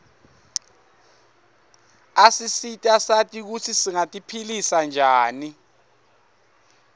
asisita sati kutsi singati philisa njani